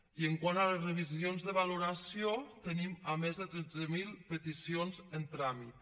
i quant a les revisions de valoració tenim més de tretze mil peticions en tràmit